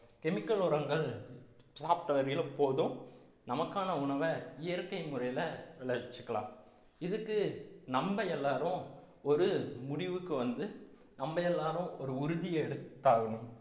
chemical உரங்கள் சாப்பிட்ட வரையிலும் போதும் நமக்கான உணவை இயற்கை முறையில விளைவிச்சுக்கலாம் இதுக்கு நம்ம எல்லாரும் ஒரு முடிவுக்கு வந்து நம்ம எல்லாரும் ஒரு உறுதி எடுத்தாகணும்